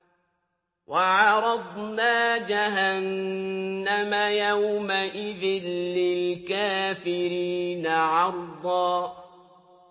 وَعَرَضْنَا جَهَنَّمَ يَوْمَئِذٍ لِّلْكَافِرِينَ عَرْضًا